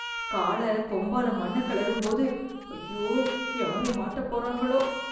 காளை கொம்பால மண்ணை கிளரும்போது ஐயோ யாரு மாட்டாப்போறாங்களோ.